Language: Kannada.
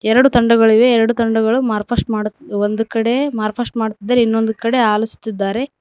ಎರಡು ತಂಡಗಳಿವೆ ಎರಡು ತಂಡಗಳು ಮಾರಫಾಸ್ಟ್ ಮಾಡುತ್ತಿ ಒಂದು ಕಡೆ ಮಾರಫಾಸ್ಟ್ ಮಾಡುತ್ತಿದಾರೆ ಇನ್ನೊಂದು ಕಡೆ ಆಲಸತಿದ್ದಾರೆ.